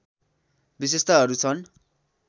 विशेषताहरू छन्